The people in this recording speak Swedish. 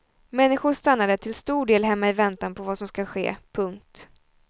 Människor stannade till stor del hemma i väntan på vad som ska ske. punkt